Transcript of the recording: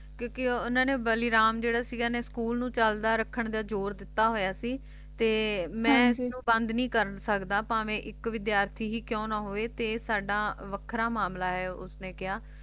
ਕਿਉਂਕਿ ਉਨ੍ਹਾਂ ਨੇ ਬਲੀਰਾਮ ਜਿਹੜਾ ਸੀਗਾ ਓਹਨੇ school ਨੂੰ ਚੱਲਦਾ ਰੱਖਣ ਤੇ ਜ਼ੋਰ ਦਿੱਤਾ ਹੋਇਆ ਸੀ ਤੇ ਮੈਂ ਇਸਨੂੰ ਬੰਦ ਨਹੀਂ ਕਰ ਸਕਦਾ ਭਾਵੇਂ ਇੱਕ ਵਿਦਿਆਰਥੀ ਹੀ ਕਿਉਂ ਨਾ ਹੋਵੇ ਤੇ ਇਹ ਸਾਡਾ ਵੱਖਰਾ ਮਾਮਲਾ ਹੈ ਉਸਨੇ ਕਿਹਾ